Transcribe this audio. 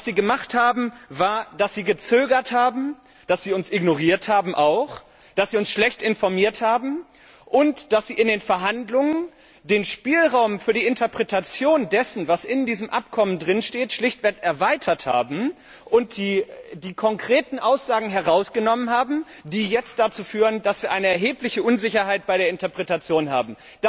Was Sie gemacht haben, war, dass Sie gezögert haben, auch dass Sie uns ignoriert haben, dass Sie uns schlecht informiert haben und dass Sie in den Verhandlungen den Spielraum für die Interpretation dessen, was in diesem Abkommen steht, schlichtweg erweitert haben und die konkreten Aussagen herausgenommen haben, was jetzt dazu führt, dass wir eine erhebliche Unsicherheit bei der Interpretation haben.